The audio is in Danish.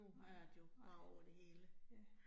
Ja, nej, ja